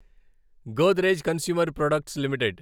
Godrej consumer products limited